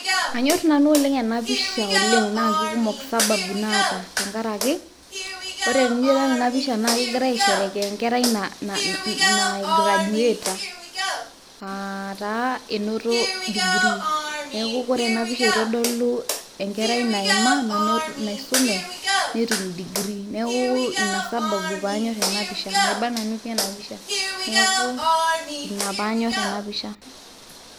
anyor nanu ena pisha oleng naa kikumok sababu naata, tenkaraki, oore tenijo adol ena pisha naa kegirae aesherekea enkerai nai graduater naa taa enoto degree neeku ore ena pisha eitodolu, enkerai naima naisume, netum deree. neeku ina sababu pee anyor ena pisha maiba nanu pii ena pisahaa. ina pee anyor ena pisha.